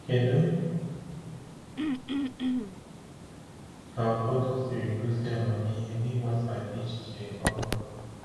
Kedu ka ụfọdụ siri gosi amamihe n’ịgbasa echiche ọhụrụ?